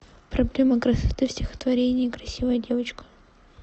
проблема красоты в стихотворение красивая девочка